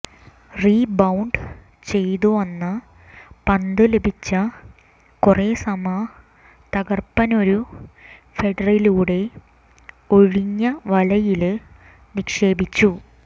rebound ചെയ്തു വന്ന പന്ത് ലഭിച്ച ക്വറെസമ തകര്പ്പനൊരു ഹെഡ്ഡറിലൂടെ ഒഴിഞ്ഞ വലയില് നിക്ഷേപിച്ചു